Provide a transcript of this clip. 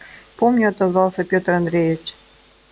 помню отозвался пётр андреевич